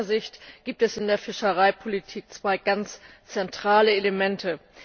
Aus meiner Sicht gibt es in der Fischereipolitik zwei ganz zentrale Elemente.